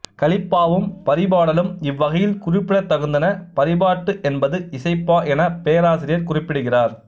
கலிப்பாவும் பரிபாடலும் இவ்வகையில் குறிப்பிடத்தகுந்தன பரிபாட்டு என்பது இசைப்பா என பேராசிரியர் குறிப்பிடுகிறார்